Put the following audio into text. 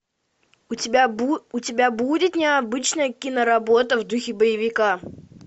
у тебя будет необычная киноработа в духе боевика